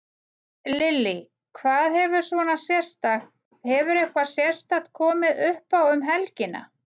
Lillý: Hvað hefur svona sérstakt, hefur eitthvað sérstakt komið uppá um helgina?